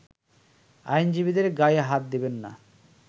আইনজীবীদের গায়ে হাত দিবেন না